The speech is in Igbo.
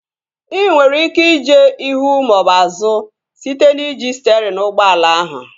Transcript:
Ị nwere ike ije ihu maọbụ azụ site n'iji sterịn ụgbọala ahụ